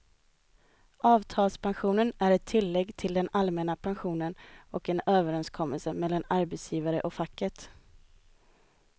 Avtalspensionen är ett tillägg till den allmänna pensionen och en överenskommelse mellan arbetsgivaren och facket.